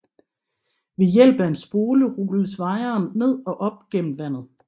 Ved hjælp af en spole rulles wiren ned og op gennem vandet